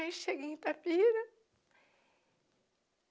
Aí cheguei em Itapira.